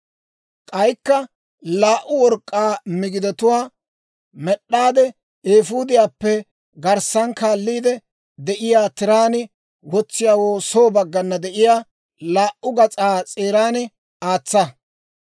K'aykka laa"u work'k'aa migidatuwaa med'd'aade, eefuudiyaappe garssan kaalliide de'iyaa tiraan wotsiyaawoo soo baggana de'iyaa laa"u gas'aa s'eeran aatsa.